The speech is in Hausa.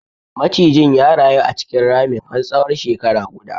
Macijin ya rayu a cikin ramin har tsahon shekara guda.